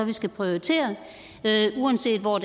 vi skal prioritere uanset hvor